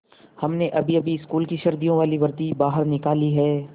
हमने अभीअभी स्कूल की सर्दियों वाली वर्दी बाहर निकाली है